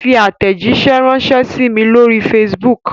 Fi àtẹ̀jíṣẹ́ ránṣẹ sí mí lóri facebook!